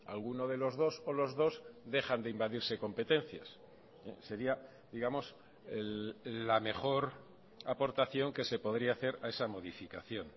alguno de los dos o los dos dejan de invadirse competencias sería digamos la mejor aportación que se podría hacer a esa modificación